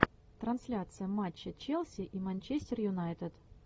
трансляция матча челси и манчестер юнайтед